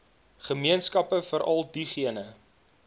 gemeenskappe veral diegene